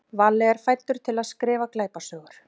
Valli er fæddur til að skrifa glæpasögur.